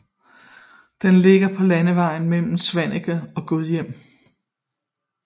Den ligger på landevejen mellem Svaneke og Gudhjem